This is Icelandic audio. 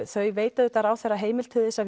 þau veita auðvitað ráðherra heimild til þess að